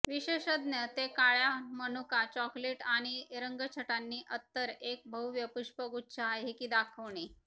विशेषज्ञ ते काळ्या मनुका चॉकलेट आणि रंगछटांनी अत्तर एक भव्य पुष्पगुच्छ आहे की दाखविणे